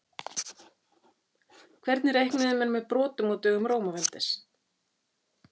Hvernig reiknuðu menn með brotum á dögum Rómaveldis?